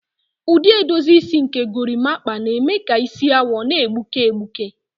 Ụdị edozi isi nke Gorimakpa na-eme ka isi awọ na-egbuke egbuke.